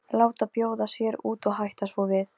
Ég opna augun og horfi í þín.